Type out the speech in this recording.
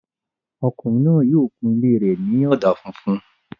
Ọkùnrin náà yóò kun ilé rẹ̀ ní ọ̀dà funfun